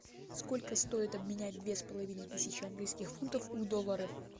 сколько стоит обменять две с половиной тысячи английских фунтов в доллары